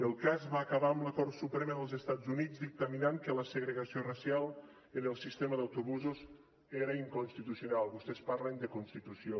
el cas va acabar amb la cort suprema dels estats units dictaminant que la segregació racial en el sistema d’autobusos era inconstitucional vostès parlen de constitució